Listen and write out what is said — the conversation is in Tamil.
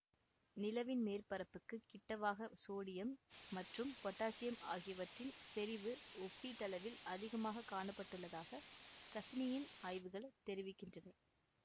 நிலவின் மேற்பரப்புக்குக் கிட்டவாக சோடியம் மற்றும் பொட்டாசியம் ஆகியவற்றின் செறிவு ஒப்பீட்டளவில் அதிகமாக காணப்பட்டுள்ளதாக கசினியின் ஆய்வுகள் தெரிவிக்கின்றன